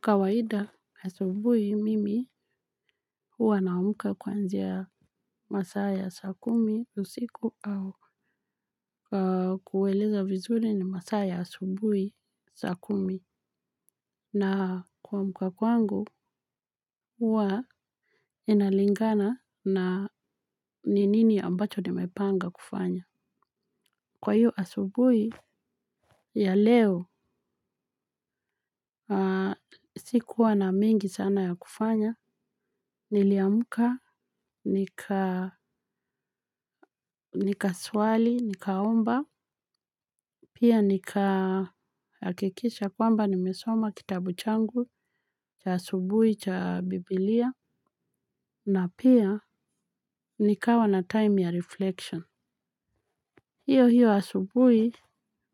Kawaida asubui mimi huwa naamka kwanzia masaa ya saa kumi siku au kuweleza vizuri ni masaa ya asubui saa kumi. Na kuamka kwangu huwa inalingana na ninini ambacho nimepanga kufanya. Kwa hiyo asubui ya leo sikuwa na mingi sana ya kufanya. Niliamka nika nika swali, nikaomba, pia nika hakikisha kwamba nimesoma kitabu changu, cha asubui, cha bibilia, na pia nikawa na time ya reflection. Hiyo hiyo asubui,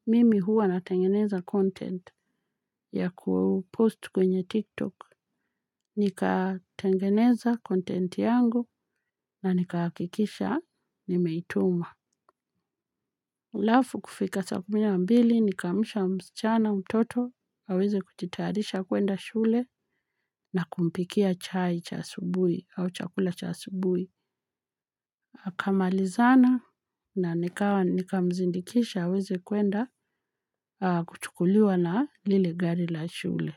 mimi huwa natengeneza content ya kupost kwenye tiktok. Nikatengeneza content yangu na nikakikisha nimeituma. Alafu kufika saa kumi na mbili, nikamsha msichana mtoto, aweze kujitayarisha kuenda shule na kumpikia chai cha asubui au chakula cha asubui. Kamalizana na nikamzindikisha haweze kuenda kujukuliwa na lile gari la shule.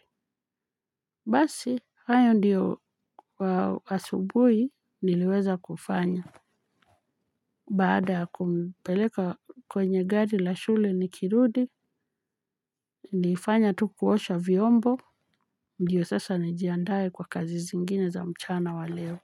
Basi hayo ndiyo wasubui niliweza kufanya. Baada ya kumpeleka kwenye gari la shule nikirudi nilifanya tu kuosha vyombo. Ndiyo sasa nijiandaye kwa kazi zingine za mchana waleo.